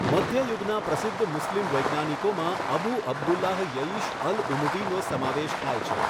મધ્યયુગના પ્રસિધ્ધ મુસ્લિમ વૈજ્ઞાનિકોમાં અબૂ અબ્દુલ્લાહ યઈશ અલ ઉમવીનો સમાવેશ થાય છે.